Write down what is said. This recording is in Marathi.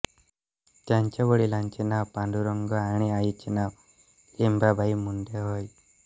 त्यांच्या वडीलांचे नाव पांडुरंग आणि आईचे नाव लिंबाबाई मुंडे होय